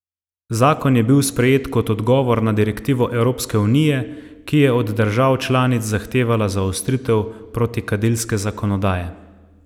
Zakon je bil sprejet kot odgovor na direktivo Evropske unije, ki je od držav članic zahtevala zaostritev protikadilske zakonodaje.